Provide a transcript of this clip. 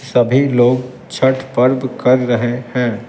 सभी लोग छठ पर्व कर रहे हैं ।